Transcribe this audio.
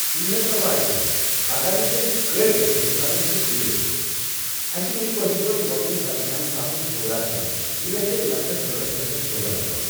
کِہیٖن حظ پرواے چھنہٕ پگہہ نہٕ کٮ۪نٛہہ کٲلۍ کٮ۪تھ ییٚمہٕ ساتہٕ تُہۍ فِرٛی ٲسِو، اسہِ مہ چھُ کٲشِر پٲٹھۍ رۄپین ژتجِہن ساسن سودہ کرُن یہِ گژھِ لَچھَس ڈۄڑَس لچھس سودہ لگ بگ